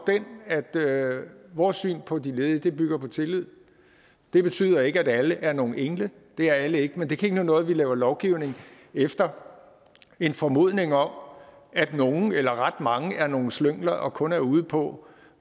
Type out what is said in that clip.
den at vores syn på de ledige bygger på tillid det betyder ikke at alle er nogle engle det er alle ikke men det kan ikke nytte noget at vi laver lovgivning efter en formodning om at nogle eller ret mange er nogle slyngler og kun er ude på